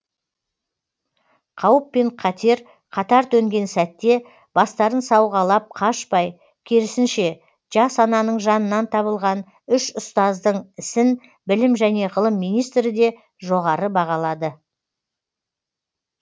қауіп пен қатер қатар төнген сәтте бастарын сауғалап қашпай керісінше жас ананың жанынан табылған үш ұстаздың ісін білім және ғылым министрі де жоғары бағалады